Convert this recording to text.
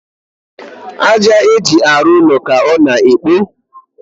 àjà eji arụ ụlọ ka ọ na ekpo